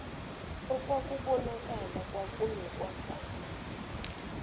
okwakubon akala okunokwazana